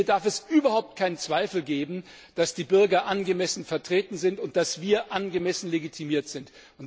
Denn hier darf es überhaupt keinen Zweifel geben, dass die Bürger angemessen vertreten sind und dass wir angemessen legitimiert sind.